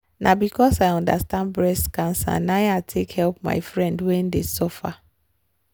na because i undestand breast cancer na i take help my friend wen dey suffer.